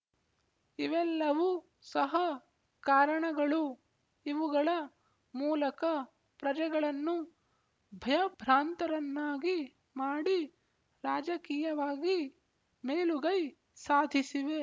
ಇವೆಲ್ಲವು ಸಹ ಕಾರಣಗಳು ಇವುಗಳ ಮೂಲಕ ಪ್ರಜೆಗಳನ್ನು ಭಯಭ್ರಾಂತರನ್ನಾಗಿ ಮಾಡಿ ರಾಜಕೀಯವಾಗಿ ಮೇಲುಗೈ ಸಾಧಿಸಿವೆ